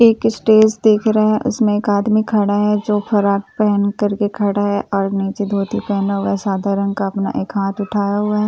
एक स्टेज देख रहे उसमे एक आदमी खरा है जो फराग पहेनकर के खरा है और निचे धोती पना हुआ है साधारण का अपना एक हात उठाया हुआ है इ --